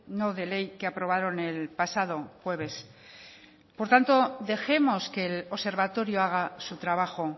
no de ley que aprobaron el pasado jueves por tanto dejemos que el observatorio haga su trabajo